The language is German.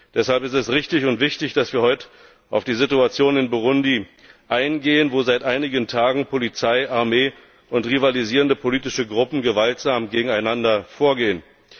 Deshalb ist es richtig und wichtig, dass wir heute auf die Situation in Burundi eingehen, wo seit einigen Tagen Polizei, Armee und rivalisierende politische Gruppen gewaltsam gegeneinander vorgehen.